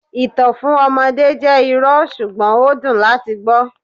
Ìtàn fún ọmọdé jẹ́ irọ́, ṣùgbọ́n ó dùn láti gbọ́.